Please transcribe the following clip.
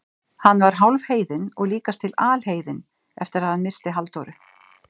Hann var hálfheiðinn og líkast til alheiðinn eftir að hann missti Halldóru.